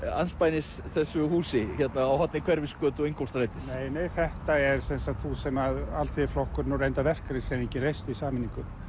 andspænis þessu húsi hérna á horni Hverfisgötu og Ingólfsstrætis nei nei þetta er hús sem Alþýðuflokkurinn og reyndar verkalýðshreyfingin reistu í sameiningu